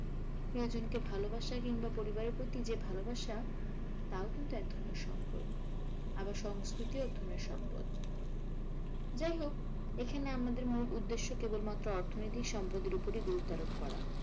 প্রিয়জনকে ভালোবাসা কিংবা পরিবারের প্রতি যে ভালোবাসা তাও কিন্তু একধরণের সম্পদ আবার সংষ্কৃতিও একধরণের সম্পদ। যাইহোক, এখানে আমাদের মূল উদেশ্য কেবলমাত্র অর্থনৈতিক সম্পদের ওপরে গুরুত্ব আরোপ করা,